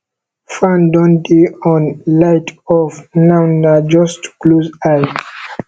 fan don dey on light off now na just to close eye